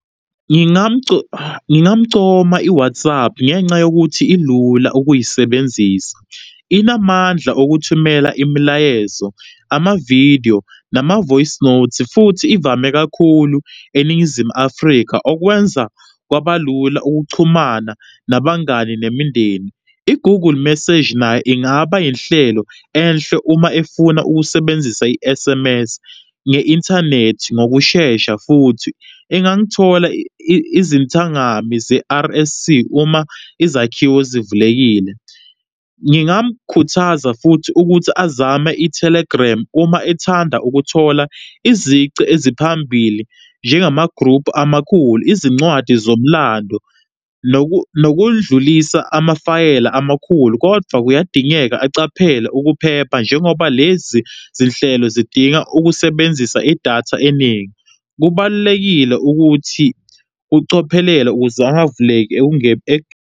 Ngingamcoma i-WhatsApp ngenca yokuthi ilula ukuyisebenzisa, inamandla okuthumela imilayezo amavidiyo, nama-voice note futhi ivame kakhulu eNingizimu Afrika, okwenza kwabalula ukuchumana nabangani nemindeni. I-Google message nayo ingaba inhlelo enhle uma efuna ukusebenzisa i-S_M_S nge-inthanethi ngokushesha, futhi engangithola izintangami ze-R_S_C uma izakhiwo zivulekile. Ngingamkhuthaza futhi ukuthi azame i-Telegram uma ethanda ukuthola izici eziphambili, njengengama-group amakhulu, izincwadi zomlando, nokudlulisa amafayela amakhulu kodwa kuyadingeka aqaphele ukuphepha, njengoba lezi zinhlelo zidinga ukusebenzisa idatha eningi. Kubalulekile ukuthi ucophelela ukuze angavuleki .